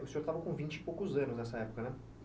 O senhor estava com vinte e poucos anos nessa época, né?